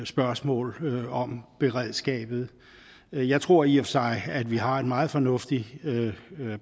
spørgsmål om beredskabet jeg tror i og for sig at vi har et meget fornuftigt